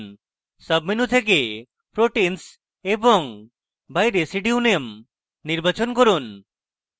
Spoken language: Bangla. সাবmenu থেকে proteins এবং by residue name নির্বাচন from